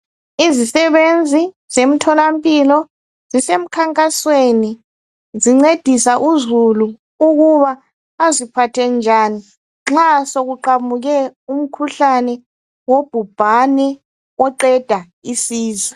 Izisebenzi zemtholampilo zisemkhankasweni zincedisa uzulu ukuba aziphathe njani nxa sokuqhamuke umkhuhlane wobhubhane oqeda isizwe.